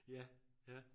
Ja ja